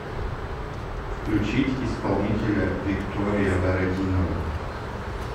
включить исполнителя виктория бородинова